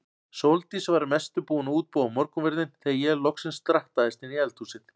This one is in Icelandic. Sóldís var að mestu búin að útbúa morgunverðinn þegar ég loksins drattaðist inn í eldhúsið.